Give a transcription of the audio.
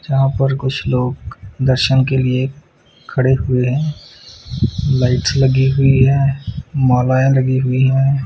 जहां पर कुछ लोग दर्शन के लिए खड़े हुए हैं लाइट्स लगी हुईं हैं मालाएं लगी हुईं हैं।